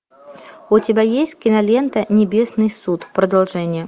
у тебя есть кинолента небесный суд продолжение